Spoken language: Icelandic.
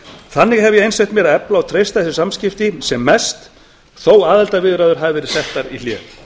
þannig hef ég einsett mér að efla og treysta þessi samskipti sem mest þótt aðildarviðræður hafi verið settar í hlé